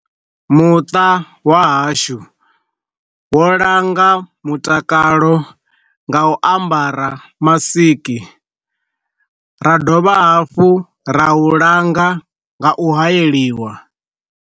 Muṱa wa hashu wo langa mutakalo nga u ambara masiki, ra dovha hafhu ra u langa nga u hayeliwa.